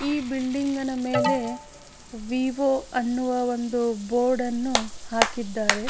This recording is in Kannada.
ಈ ಬಿಲ್ಡಿಂಗ್ ನ ಮೇಲೆ ವಿವಿ ಅಂತ ಒಂದು ಬೋರ್ಡ್ ಅನ್ನು ಹಾಕಿದರೆ .